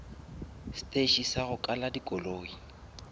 steše sa go kala dikoloi